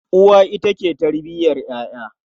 Uwa ita ke tarbiyar ƴaƴa.